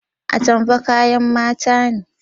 Atamfa kayan mata ne